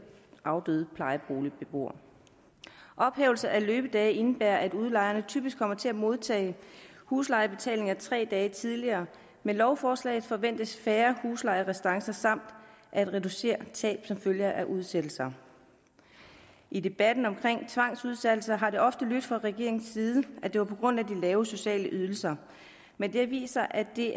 afdøde plejeboligbeboere ophævelse af løbedage indebærer at udlejerne typisk kommer til at modtage huslejebetaling tre dage tidligere med lovforslaget forventes færre huslejerestancer samt reduceret tab som følge af udsættelser i debatten omkring tvangsudsættelser har det ofte lydt fra regeringens side at det var på grund af de lave sociale ydelser men det har vist sig at det